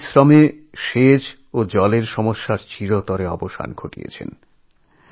নিজ পরিশ্রমে সেচ এবং পানীয় জলের সমস্যা চিরতরে মিটিয়েছেন